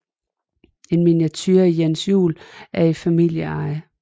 En miniature af Jens Juel er i familieeje